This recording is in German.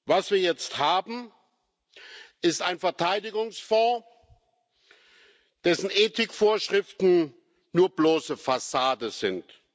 Was wir jetzt haben, ist ein Verteidigungsfonds, dessen Ethikvorschriften nur bloße Fassade sind.